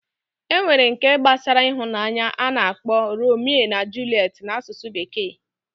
Enwere nke gbasara ịhụnanya ana akpo Romeo and Juliet na asusu bekee